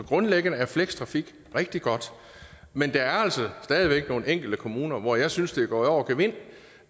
grundlæggende er flextrafik rigtig godt men der er altså stadig væk nogle enkelte kommuner hvor jeg synes det er gået over gevind